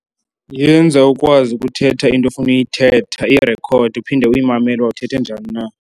Yenza ukwazi ukuthetha into ofuna uyithetha, iyirkhode uphinde uyimamele uba uthetha njani na.